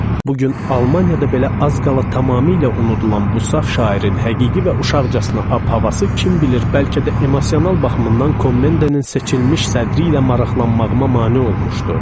Bu gün Almaniyada belə az qala tamamilə unudulan bu saf şairin həqiqi və uşaqcasına ab-havası kim bilir, bəlkə də emosional baxımından Kommendenin seçilmiş sədrri ilə maraqlanmağıma mane olmuşdu.